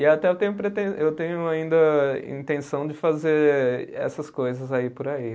E até eu tenho prete, eu tenho ainda a intenção de fazer essas coisas aí por aí.